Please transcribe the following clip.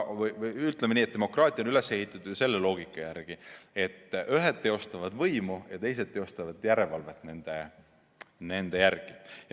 Demokraatia on üles ehitatud selle loogika järgi, et ühed teostavad võimu ja teised teostavad järelevalvet nende üle.